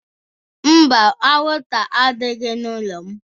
Mba, anwụnta adịghị n'ụlọ m